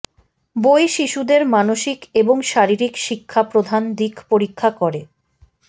বই শিশুদের মানসিক এবং শারীরিক শিক্ষা প্রধান দিক পরীক্ষা করে